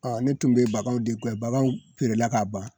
ne tun be baganw de guwɛn, baganw feerela ka ban